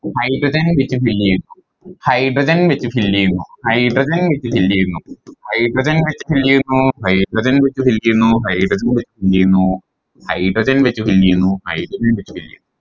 Hydrogen വെച്ച് fill ചെയ്യുന്നു Hydrogen വെച്ച് fill ചെയ്യുന്നു Hydrogen വെച്ച് fill ചെയ്യുന്നു Hydrogen വെച്ച് fill ചെയ്യുന്നു Hydrogen വെച്ച് fill ചെയ്യുന്നു Hydrogen വെച്ച് fill ചെയ്യുന്നു Hydrogen വെച്ച് fill ചെയ്യുന്നു Hydrogen വെച്ച് fill ചെയ്യുന്നു